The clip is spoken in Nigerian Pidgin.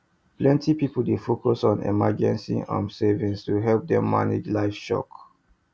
plenty people dey focus on emergency um savings to help them manage life shock